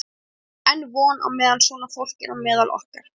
Það er enn von meðan svona fólk er á meðal okkar!